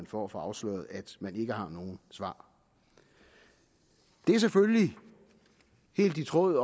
for at få afsløret at man ikke har nogen svar det er selvfølgelig helt i tråd